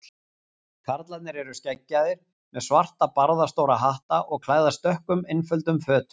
Karlarnir eru skeggjaðir, með svarta barðastóra hatta og klæðast dökkum, einföldum fötum.